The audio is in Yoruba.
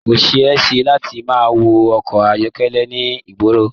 Ko ṣe é ṣe láti má wọ ọkọ ayọkẹlẹ ní ìgboro.